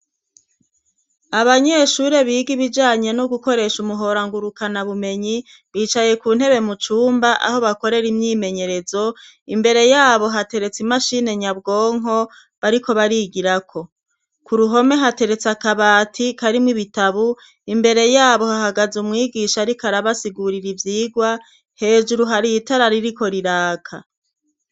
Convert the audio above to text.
Abanyeshure biga ibijanye no gukoresha umuhora ngurukana bumenyi bicaye ku ntebe mu cumba aho bakorera imyimenyerezo, imbere y'abo hateretse imashine nyabwonko bariko barigirako. Ku ruhome hateretse akabati karimwo ibitabo, imbere y'abo hahagaze umwigisha ariko arabasigurira ivyigwa, hejuru hari itara ririko riraka.